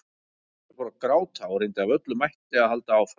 Ég fór að gráta og reyndi af öllum mætti að halda áfram.